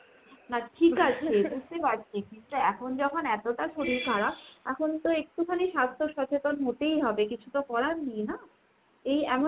but ঠিক আছে বুঝতে পারছি। কিন্তু এখন যখন এতটা শরীর খারাপ এখন তো একটুখানি স্বাস্থ্য সচেতন হতেই হবে কিছু তো করার নেই না। এই এমন